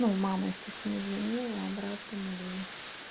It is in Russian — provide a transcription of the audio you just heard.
ну мама естественно звонила обратном ли